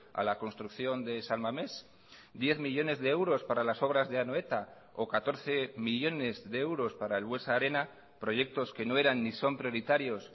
a la construcción de san mames diez millónes de euros para las obras de anoeta o catorce millónes de euros para el buesa arena proyectos que no eran ni son prioritarios